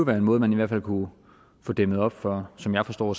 være en måde man i hvert fald kunnet få dæmmet op for som jeg forstår